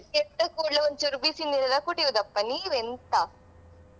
ಎದ್ದ ಕುಡ್ಲೆ ಒಂದ್ಚೂರು ಬಿಸಿ ನೀರೆಲ್ಲಾ ಕುಡಿಯುದಪ್ಪಾ ನೀವೆಂತಾ?